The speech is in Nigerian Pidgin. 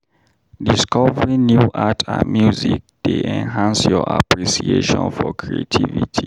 Discovering new art and music dey enhance your appreciation for creativity.